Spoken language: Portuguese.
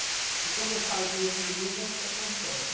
Porque quando eu falo Deus Me Livre, é o que acontece.